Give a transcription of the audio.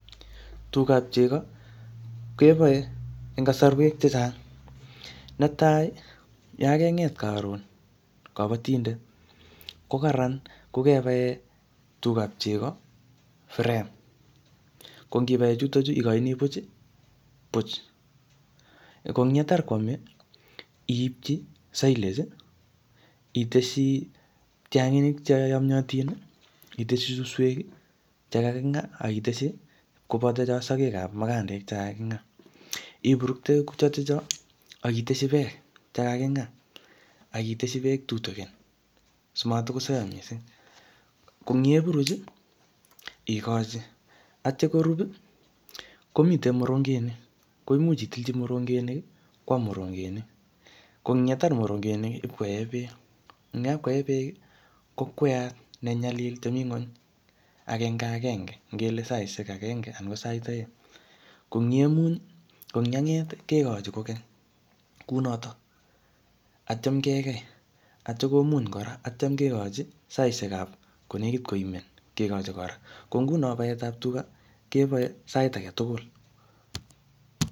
Tugap chego, kebae eng kasarwek chechang'. Ne tai, yakenget karon kabatindet, ko kararan ko kebae tugap chego frame. Ko ngibae chutochu, ikochini puch, puch. Ko eng yetar koame, iipchi silage, iteshi tianginik che yamyatin, iteshi suswek, che kakingaaa, akiteshi koboto cho sagek ap mukandek che kaking'aa. Iburukte chotocho, akiteshi beek che kaking'aa. Akiteshi beek tutukin, simatkosaiyo missing. Ko eng yepuruch, ikochi. Atya korub, komitei morongenik. Ko imuch itilchi morongenik, kwam morongenik. Ko eng yetar morongenik, ipkoee beek. Eng yapkoee beek, kokweat ne nyalil che mii ng'uny, agenge agenge. Ngele saishek agenge anan ko sait aeng. Ko eng yemuny, ko eng yanget, kekochi kokeny kunotok. Atyam kekei, atyam komuny kora. Atyam kekochi saishek ap ko nekit koimen, kekochi kora. Ko nguno paet ap tuga, kebae sait age tugul